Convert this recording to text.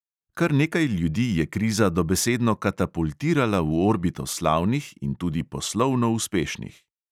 Kar nekaj ljudi je kriza dobesedno katapultirala v orbito slavnih in tudi poslovno uspešnih.